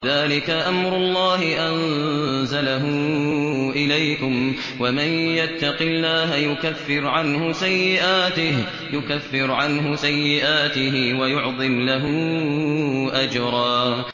ذَٰلِكَ أَمْرُ اللَّهِ أَنزَلَهُ إِلَيْكُمْ ۚ وَمَن يَتَّقِ اللَّهَ يُكَفِّرْ عَنْهُ سَيِّئَاتِهِ وَيُعْظِمْ لَهُ أَجْرًا